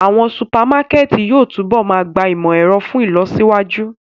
Awọn supamakẹti yóò tunbọ máa gba imọ-ẹrọ fun ilọsiwaju.